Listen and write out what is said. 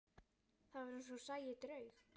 Það var eins og hún sæi draug.